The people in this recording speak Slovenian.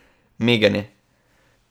Miganje.